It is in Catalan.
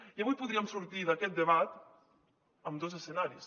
i avui podríem sortir d’aquest debat amb dos escenaris